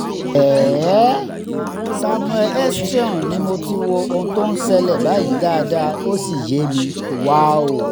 samuel osteom ni mo ti wo ohun tó ń ṣẹlẹ̀ báyìí dáadáa ó sì yé mi